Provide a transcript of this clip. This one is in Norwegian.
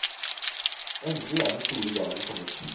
Endelig er den store dagen kommet.